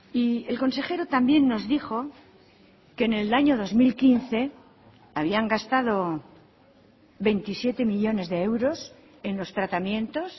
y el consejero también nos dijo que en el año dos mil quince habían gastado veintisiete millónes de euros en los tratamientos